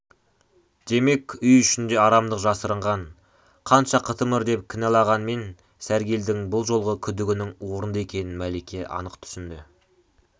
демек үй ішінде арамдық жасырынған қанша қытымыр деп кінәлағанмен сәргелдің бұл жолғы күдігінің орынды екенін мәлике анық түсінді